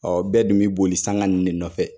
Ɔ bɛɛ dun bi boli sanga n ne nɔfɛ